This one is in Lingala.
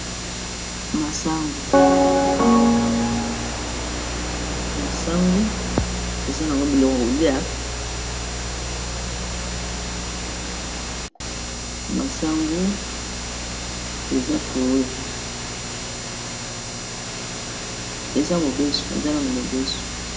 masangu eza nano ya mobeso.